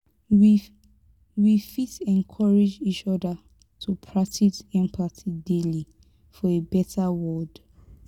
we we fit encourage each other to practice empathy daily for a beta world.